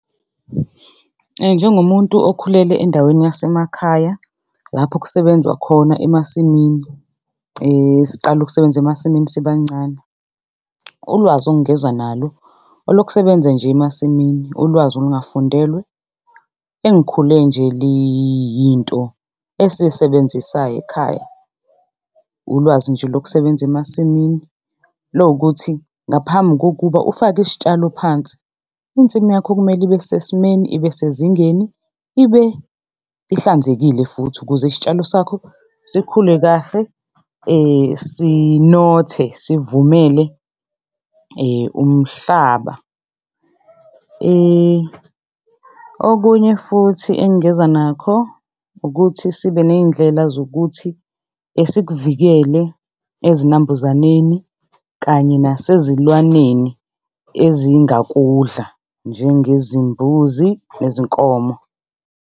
Njengomuntu okhulele endaweni yasemakhaya lapho kusebenzwa khona emasimini siqale ukusebenza emasimini sibancane, ulwazi ongeza nalo olokusebenza nje emasimini, ulwazi olungafundelwe engikhule nje liyinto esiyisebenzisayo ekhaya. Ulwazi nje lokusebenza emasimini lokuthi ngaphambi kokuba ufake isitshalo phansi insimu yakho kumele ibesesimeni, ibesezingeni, ibe ihlanzekile futhi ukuze isitshalo sakho sikhule kahle sinothe, sivumele umhlaba. Okunye futhi engingeza nakho ukuthi sibe ney'ndlela zokuthi sikuvikele ezinambuzaneni kanye nasezilwaneni ezingakudla njengezimbuzi, nezinkomo.